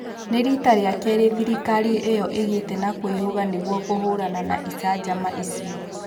Nĩ rita rĩa keerĩ thirikari ĩyo ĩgĩte na kwĩhuga nigũo kũhũrana na icanjama icio